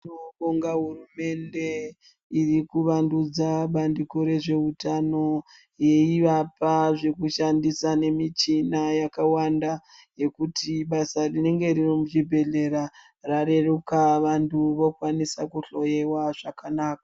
Tinobonga hurumende irikuvandudza bandiko rezveutano yeivapa zvekushandisa nemichina yakawanda yekuti basa rinenge riri muzvibhehlera rareruka vantu vokwanisa kuhloyewa zvakanaka.